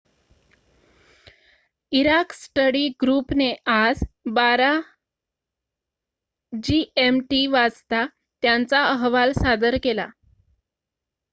Iraq study group ने आज १२.०० gmt वाजता त्यांचा अहवाल सादर केला